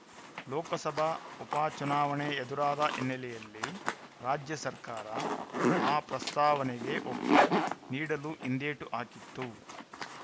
ಲೋಕಸಭಾ ಉಪಚುನಾವಣೆ ಎದುರಾದ ಹಿನ್ನೆಲೆಯಲ್ಲಿ ರಾಜ್ಯ ಸರ್ಕಾರ ಆ ಪ್ರಸ್ತಾವನೆಗೆ ಒಪ್ಪಿ ನೀಡಲು ಹಿಂದೇಟು ಹಾಕಿತ್ತು